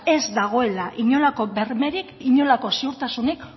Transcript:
ez dagoela inolako bermerik inolako ziurtasunik